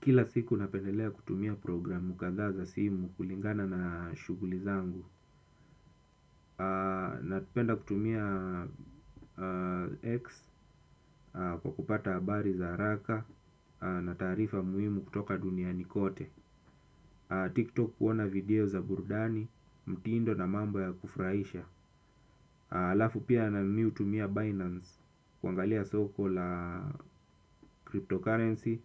Kila siku napendelea kutumia programu kadhaa za simu kulingana na shuguli zangu. Napenda kutumia X kwa kupata habari za haraka na taarifa muhimu kutoka duniani kote TikTok kuona video za burudani, mtindo na mambo ya kufurahisha. Alafu pia na mi hutumia Binance kuangalia soko la cryptocurrency